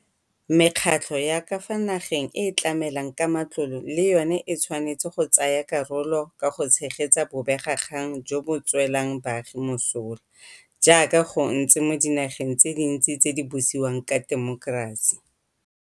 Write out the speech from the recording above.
Mekgatlho ya ka fa nageng e e tlamelang ka matlole le yona e tshwanetse go tsaya karolo ka go tshegetsa bobegakgang jo bo tswelang baagi mosola, jaaka go ntse mo dinageng tse dintsi tse di busiwang ka temokerasi.